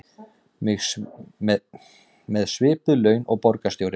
Með svipuð laun og borgarstjórinn